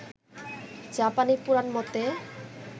জাপানি পুরান মতে